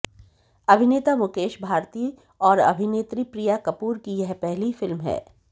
अभिनेता मुकेश भारती और अभिनेत्री प्रिया कपूर की यह पहली फिल्म है